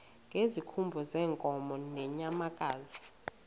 ngezikhumba zeenkomo nezeenyamakazi